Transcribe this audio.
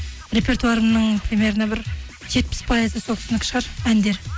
репертуарымның примерно бір жетпіс пайызы сол кісінікі шығар әндер